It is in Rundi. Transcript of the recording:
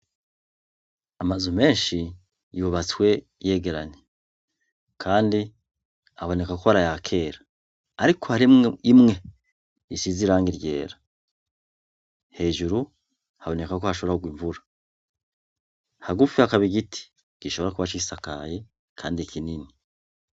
Amazu menshi yubatswe yegeranye. Kandi aboneka ko ar'aya kera. Ariko harimwo imwe isize irangi ryera. Hejuru haboneka ko hashobora kugwa imvura. Hagufi hakaba igiti gishobora kuba cisakaye kandi kinini.